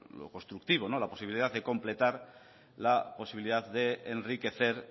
lo constructivo la posibilidad de completar la posibilidad de enriquecer